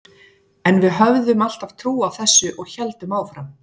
En við höfðum alltaf trú á þessu og héldum áfram.